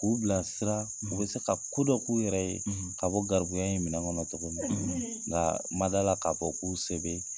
K'u bilasira, u bɛ se ka ko dɔ k'u yɛrɛ ye , ka bɔ garibuya in minɛn kɔnɔ cogo min , nka n ma d'a la k'a fɔ k'u se bɛ